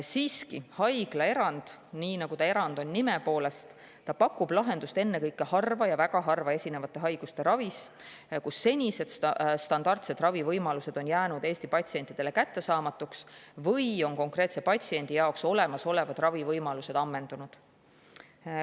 Siiski, haiglaerand, nii nagu on see ka nime poolest erand, pakub lahendust ennekõike harva ja väga harva esinevate haiguste ravis, kus senised standardsed ravivõimalused on jäänud Eesti patsientidele kättesaamatuks või on konkreetse patsiendi jaoks olemasolevad ravivõimalused ammendunud.